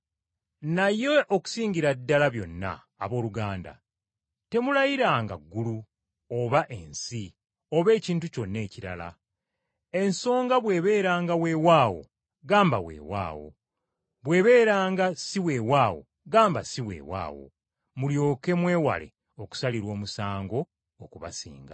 Naye okusingira ddala byonna, abooluganda, temulayiranga ggulu, oba ensi, oba ekintu kyonna ekirala. Ensonga bw’ebeeranga weewaawo, gamba weewaawo. Bw’ebeeranga si weewaawo gamba si weewaawo, mulyoke mwewale okusalirwa omusango okubasinga.